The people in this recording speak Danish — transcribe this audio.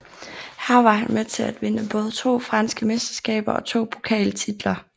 Her var han med til at vinde både to franske mesterskaber og to pokaltitler